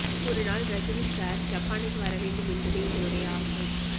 ஒருநாள் ரஜினி சார் ஜப்பானுக்கு வர வேண்டும் என்பதே எங்களுடைய ஆசை